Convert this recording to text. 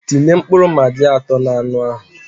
Tinye mkpụrụ magi atọ n'anu ahụ